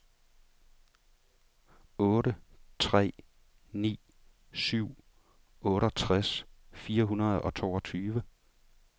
otte tre ni syv otteogtres fire hundrede og toogtyve